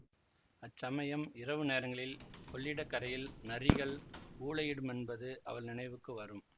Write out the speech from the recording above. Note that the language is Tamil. அச்சமயம் இரவு நேரங்களில் கொள்ளிடக்கரையில் நரிகள் ஊளையிடுமென்பது அவள் நினைவுக்கு வரும்